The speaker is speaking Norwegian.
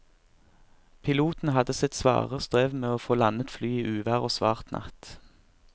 Piloten hadde sitt svare strev med å få landet flyet i uvær og svart natt.